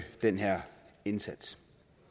den her indsats